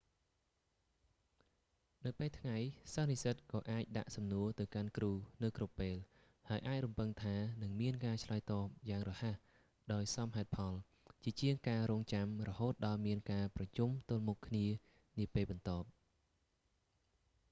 នៅពេលថ្ងៃសិស្សនិស្សិតក៏អាចដាក់សំណួរទៅកាន់គ្រូនៅគ្រប់ពេល ហើយអាចរំពឹងថានឹងមានការឆ្លើយតបយ៉ាងរហ័សដោយសមហេតុផលជាជាងការរង់ចាំរហូតដល់មានការប្រជុំទល់មុខគ្នានាពេលបន្ទាប់